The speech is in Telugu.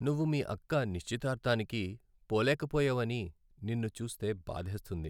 నువ్వు మీ అక్క నిశ్చితార్థానికి పోలేకపోయావని నిన్ను చూస్తే బాధేస్తుంది.